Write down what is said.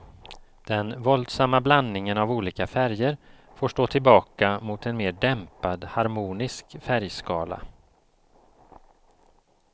Den våldsamma blandningen av olika färger får stå tillbaka mot en mer dämpad, harmonisk färgskala.